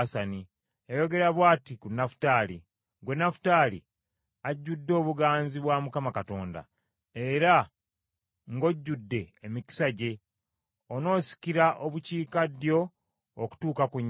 Yayogera bw’ati ku Nafutaali: “Ggwe Nafutaali ajjudde obuganzi bwa Mukama Katonda era ng’ojjudde emikisa gye, onoosikira obukiikaddyo okutuuka ku nnyanja.”